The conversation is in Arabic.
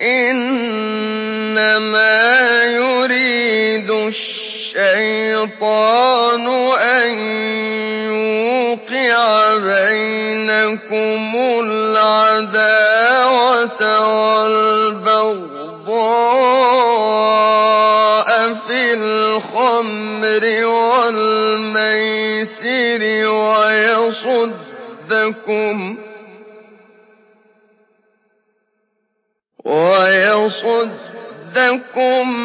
إِنَّمَا يُرِيدُ الشَّيْطَانُ أَن يُوقِعَ بَيْنَكُمُ الْعَدَاوَةَ وَالْبَغْضَاءَ فِي الْخَمْرِ وَالْمَيْسِرِ وَيَصُدَّكُمْ